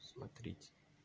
смотрите